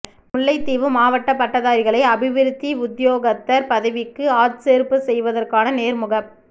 முல்லைத்தீவு மாவட்ட பட்டதாரிகளை அபிவிருத்தி உத்தியோகத்தர் பதவிக்கு ஆட்சேர்ப்பு செய்வதற்கான நேர்முகப்